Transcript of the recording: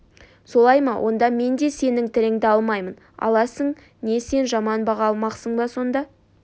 солай ма онда мен де сенің тіліңді алмаймын аласың не сен жаман баға алмақсың ба сонда